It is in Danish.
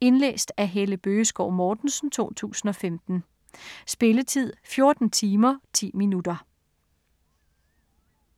Indlæst af Helle Bøgeskov Mortensen, 2015. Spilletid: 14 timer, 10 minutter.